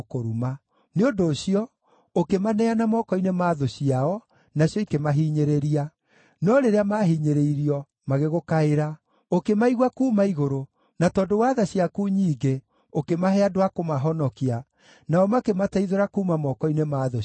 Nĩ ũndũ ũcio, ũkĩmaneana moko-inĩ ma thũ ciao, nacio ikĩmahinyĩrĩria. No rĩrĩa maahinyĩrĩirio, magĩgũkaĩra. Ũkĩmaigua kuuma igũrũ, na tondũ wa tha ciaku nyingĩ ũkĩmahe andũ a kũmahonokia, nao makĩmateithũra kuuma moko-inĩ ma thũ ciao.